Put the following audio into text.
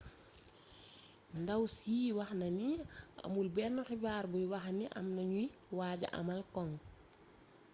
ndaw si waxna ni amul benn xibaar buy waxni amna ñuy waaja amal am cong